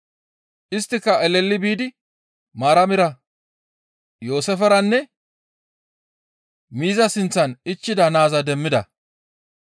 Isttika eleli biidi Maaramira, Yooseeferanne miiza sinththan ichchida naaza demmida.